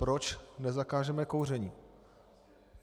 Proč nezakážeme kouření?